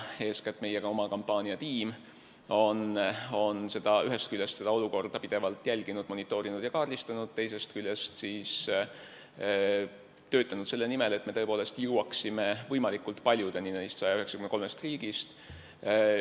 Eeskätt meie oma kampaaniatiim tervikuna on ühest küljest olukorda pidevalt jälginud, monitoorinud ja kaardistanud, teisest küljest töötanud selle nimel, et me tõepoolest jõuaksime võimalikult paljudeni neist 193 riigist.